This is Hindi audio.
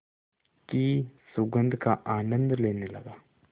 की सुगंध का आनंद लेने लगा